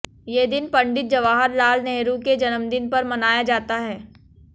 ये दिन पंडित जवाहर लाल नेहरु के जन्मदिन पर मनाया जाता है